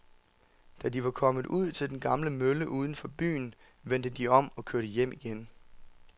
Da de var kommet ud til den gamle mølle uden for byen, vendte de om og kørte hjem igen.